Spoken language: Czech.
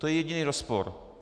To je jediný rozpor.